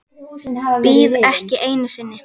Bíð ekki einu sinni.